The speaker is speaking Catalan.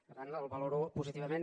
per tant el valoro positivament